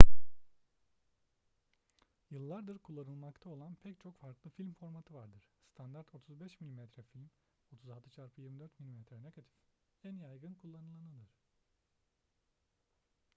yıllardır kullanılmakta olan pek çok farklı film formatı vardır. standart 35 mm film 36x24 mm negatif en yaygın kullanılanıdır